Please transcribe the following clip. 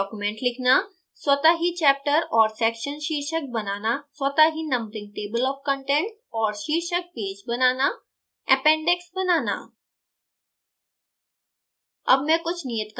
latex में एक document लिखना स्वतः ही chapter और section शीर्षक बनना स्वतः ही नंबरिंग table of contents और शीर्षक पेज बनाना appendix बनाना